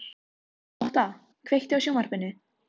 Og flugurnar skulu fá að suða yfir henni annan söng.